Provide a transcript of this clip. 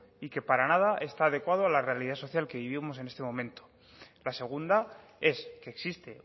y que para nada está adecuado a la realidad social que vivimos en este momento la segunda es que existe